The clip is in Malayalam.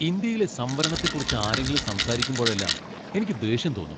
ഇന്ത്യയിലെ സംവരണത്തെക്കുറിച്ച് ആരെങ്കിലും സംസാരിക്കുമ്പോഴെല്ലാം എനിക്ക് ദേഷ്യം തോന്നും .